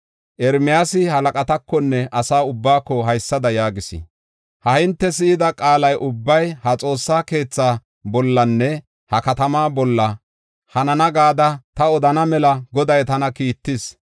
Ermiyaasi halaqatakonne asa ubbaako haysada yaagis: “Ha hinte si7ida qaala ubbay ha xoossa keethaa bollanne ha katamaa bolla hanana gada ta odana mela Goday tana kiittis.